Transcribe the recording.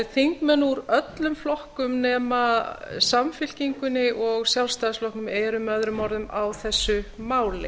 þingmenn úr öllum flokkum nema samfylkingunni og sjálfstæðisflokknum eru með öðrum orðum á þessu máli